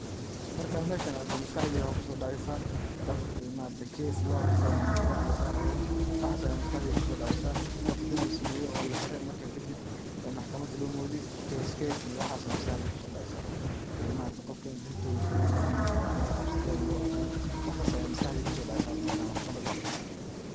Markan meshan arko waxa maskaxdeyda maxa kuso daceysa, qoof case lohaysto oo maxkamada lasari rabo, waxas aya maskaxdeyda kuso dacaysa, qoof dambi samaye oo laxire marka kadib ee maxkamada lomodiye case iyo waxa aya maskaxdeyda kusodaceysa, qofka in dil togasha lagu xugu xukumey, ini xabsi daim lagu xukumey waxas aya maskaxdeyda kusodaceysa markan maxkamad maqlo.